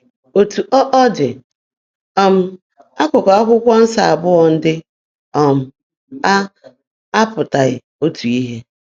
Etu ọ ọ dị, um akụkụ Akwụkwọ Nsọ abụọ ndị um a apụtaghị otu ihe.